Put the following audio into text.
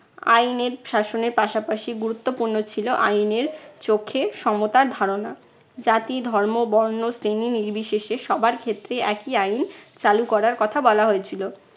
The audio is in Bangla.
আইনের শাসনের পাশাপাশি গুরুত্বপূর্ণ ছিল আইনের চোখে সমতার ধারণা। জাতি, ধর্ম, বর্ণ, শ্রেণী নির্বিশেষে সবার ক্ষেত্রেই একই আইন চালু করার কথা বলা হয়েছিল।